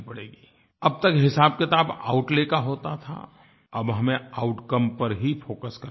अब तक हिसाबकिताब आउटले का होता था अब हमें आउटकम पर ही फोकस करना पड़ेगा